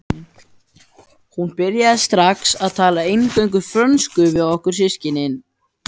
Hún byrjaði strax að tala eingöngu frönsku við okkur systkinin.